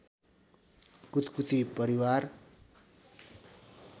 कुतकुती परिवार